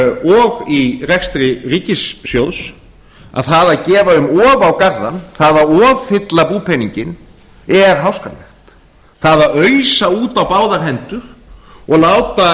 og í rekstri ríkissjóðs að það að gefa um of á garðann það að offylla búpeninginn er háskalegt það að ausa út á báðar hendur og láta